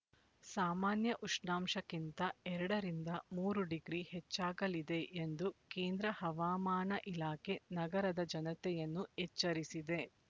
ಸಾಮಾನ್ಯ ಉಷ್ಣಾಂಶಕ್ಕಿಂತ ಎರಡ ರಿಂದ ಮೂರು ಡಿಗ್ರಿ ಹೆಚ್ಚಾಗಲಿದೆ ಎಂದು ಕೇಂದ್ರ ಹವಾಮಾನ ಇಲಾಖೆ ನಗರದ ಜನತೆಯನ್ನು ಎಚ್ಚರಿಸಿದೆ